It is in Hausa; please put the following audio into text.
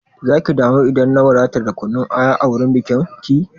Zaki damu idan na wadatar da kunun aya a wurin bikin ki?